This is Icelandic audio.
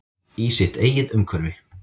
Í sitt eigið umhverfi.